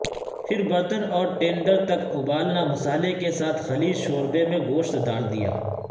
پھر برتن اور ٹینڈر تک ابالنا مصالحے کے ساتھ خلیج شوربے میں گوشت ڈال دیا